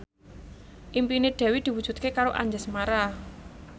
impine Dewi diwujudke karo Anjasmara